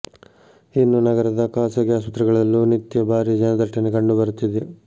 ಇನ್ನೂ ನಗರದ ಖಾಸಗಿ ಆಸ್ಪತ್ರೆಗಳಲ್ಲೂ ನಿತ್ಯ ಭಾರಿ ಜನದಟ್ಟಣೆ ಕಂಡು ಬರುತ್ತಿದೆ